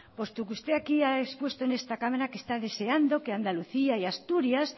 puesto que usted aquí ha expuesto en esta cámara que está deseando que andalucía y asturias